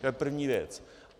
To je první věc.